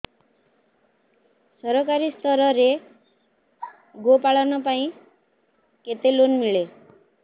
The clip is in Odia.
ସରକାରୀ ସ୍ତରରେ ଗୋ ପାଳନ ପାଇଁ କେତେ ଲୋନ୍ ମିଳେ